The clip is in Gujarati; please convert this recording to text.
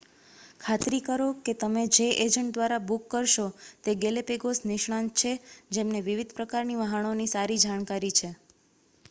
ખાતરી કરો કે તમે જે એજન્ટ દ્વારા બુક કરશો તે ગેલે પેગોસ નિષ્ણાત છે જેમને વિવિધ પ્રકારની વહાણોની સારી જાણકારી છે